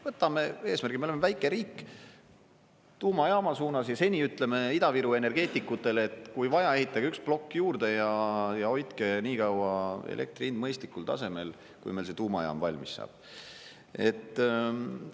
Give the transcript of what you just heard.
Võtame eesmärgi – me oleme väike riik – tuumajaama suunas ja seni ütleme Ida-Viru energeetikutele, et kui vaja, ehitage üks plokk juurde, ja hoidke nii kaua elektri hind mõistlikul tasemel, kui meil see tuumajaam valmis saab.